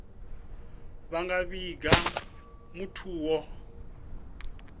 vha nga vhiga muthu o